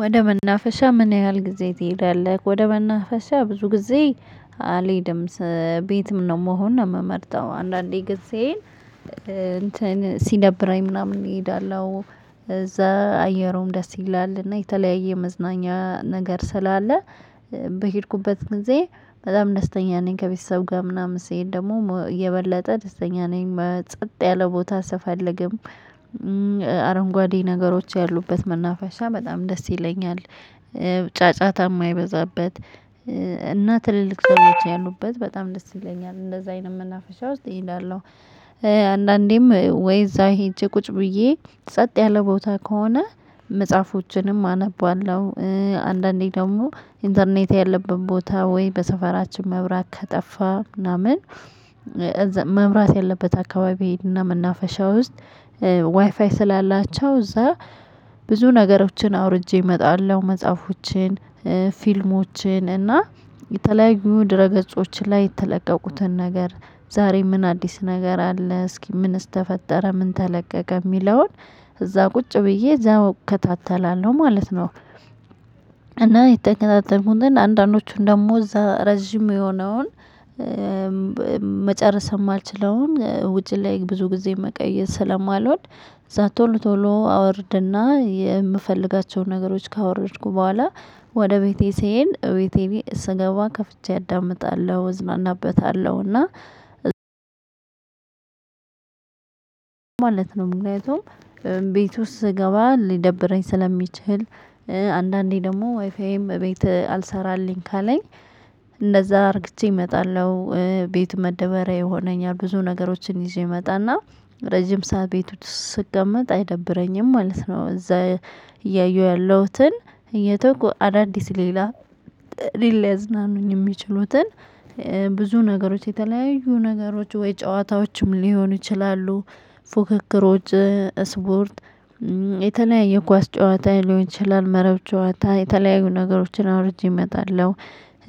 ወደ መናፈሻ ምን ያህል ጊዜ ትሄዳለህ? ወደ መናፈሻ ብዙ ጊዜ አልሄድም። ቤትም ነው መሆን ነው ምመርጠው አንዳንዴ ግን ስሄድ እንትን ሲደብረኝ ምናምን እሄዳለሁ። እዛ አየሩም ደስ ይላል እና የተለያየ መዝናኛ ነገር ስላለ። በሄድኩበት ጊዜ በጣም ደስተኛ ነኝ ከቤተሰብ ጋር ምናምን ስሄድ ደግሞ የበለጠ ደስተኛ ነኝ መጸጥ ያለ ቦታ ስፈልግም። አረንጓዴ ነገሮች ያሉበት መናፈሻ በጣም ደስ ይለኛል። ጫጫታ ማይበዛበት። እና ትልልቅ ሰዎች ያሉበት በጣም ደስ ይለኛል እንደዛ አይነት መናፈሻ ውስጥ እሄዳለው። አንዳንዴም ወይ እዛ ሄጄ ቁጭ ብዬ ጸጥ ያለ ቦታ ከሆነ መጽሐፎችንም አነባለሁ። አንዳንዴ ደግሞ ኢንተርኔት ያለበት ቦታ ወይ በሰፈራችን መብራት ከጠፋ ምናምን። መምራት ያለበት አካባቢ እና መናፈሻ ውስጥ ዋይፋይ ስላላቸው እዛ ብዙ ነገሮችን አውርጄ እመጣለሁ። መጽሐፎችን ፊልሞችን እና የተለያዩ ድረ ገጾችን ላይ የተለቀቁትን ነገር ዛሬ ምን አዲስ ነገር አለ እስኪ ምንስ ተፈጠረ ምን ተለቀቀ ሚለውን? እዛ ቁጭ ብዬ እዛ እከታተላለሁ ማለት ነው። እና የተከታተልኩትን አንዳንዶቹን ደግሞ እዛ ረጅም የሆነውን መጨረስ እማልችለውን ውጪ ላይ ብዙ ጊዜ መቆየት ስለማልወድ። እዛ ቶሎ ቶሎ አወርድና የምፈልጋቸውን ነገሮች ካወረድኩ በኋላ። ወደ ቤቴ ስሄድ እቤቴ ስገባ ከፍቼ አዳምጣለሁ እዝናናበታለሁ እና። ማለት ነው ምክንያቱም ቤት ውስጥ ስገባ ሊደብረኝ ስለሚችል። አንዳንዴ ደግሞ ዋይፋዬም ቤት አልሰራልኝ ካለኝ እንደዛ አርግቼ እመጣለሁ። ቤት መደበሪያ ይሆነኛል ብዙ ነገሮችን ይዤ እመጣና ረጅም ሰዓት ቤት ውስጥ ስቀመጥ አይደብረኝም ማለት ነው። እዛ እያየሁ ያለሁትን እየተወኩ አዳዲስ ሌላ ሌላ ሊያዝናኑኝ ሚችሉትን። ብዙ ነገሮች የተለያዩ ነገሮች ወይ ጨዋታዎችም ሊሆኑ ይችላሉ። ፉክክሮች ስፖርት የተለያየ ኳስ ጨዋታ ሊሆን ይችላል መረብ ጨዋታ የተለያዩ ነገሮችን አውርጄ እመጣለሁ።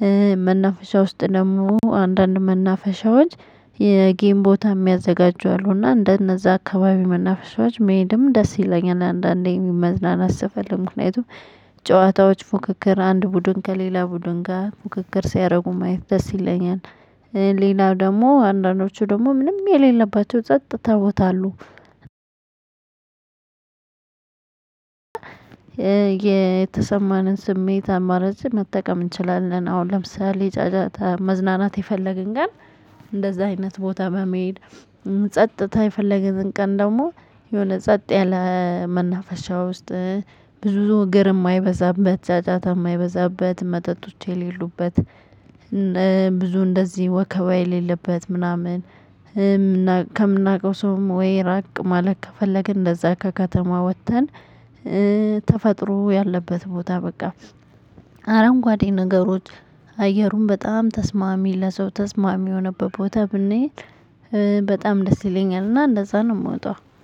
እ መናፍሻ ውስጥ ደግሞ አንዳንድ መናፍሻዎች የጌም ቦታ እሚያዘጋጁ አሉ እና እንደነዛ አካባቢ መናፍሻዎች መሄድም ደስ ይለኛል። አንዳንዴ መዝናናት ስፈልግ ምክንያቱም ጨዋታዎች ፉክክር አንድ ቡድን ከሌላ ቡድን ጋር ፉክክር ሲያደርጉ ማየት ደስ ይለኛል። ሌላው ደግሞ አንዳንዶቹ ደግሞ ምንም የሌለባቸው ጸጥታ ቦታ አሉ። የተሰማንን ስሜት አማራጭ መጠቀም እንችላለን። አሁን ለምሳሌ መዝናናት የፈለግን ቀን። እንደዛ አይነት ቦታ መሄድ። ጸጥታ የፈለግን ቀን ደግሞ የሆነ ጸጥ ያለ መናፈሻ ውስጥ። ብዙ እግር የማይበዛበት ጫጫታ የማይበዛበት መጠጦች የሌሉበት። ብዙ እንደዚህ ወከባ የሌለበት ምናምን። ከምናውቀው ሰውም ወይ ራቅ ማለቅ ከፈለግን እንደዛ ከከተማ ወጥተን። ተፈጥሮ ያለበት ቦታ በቃ። አረንጓዴ ነገሮች አየሩ በጣም ተስማሚ ለሰው ተስማሚ የሆነበት ቦታ ብንሄድ። በጣም ደስ ይለኛልና እንደዛ ነው የምወጣው።